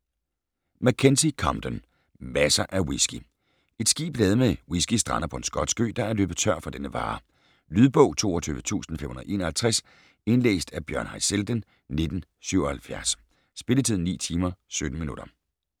Mackenzie, Compton: Masser af whisky Et skib ladet med whisky, strander på en skotsk ø, der er løbet tør for denne vare. Lydbog 22551 Indlæst af Bjørn Haizelden, 1977. Spilletid: 9 timer, 17 minutter.